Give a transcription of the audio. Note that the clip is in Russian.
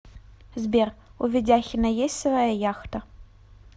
сбер у ведяхина есть своя яхта